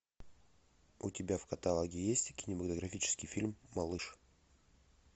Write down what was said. у тебя в каталоге есть кинематографический фильм малыш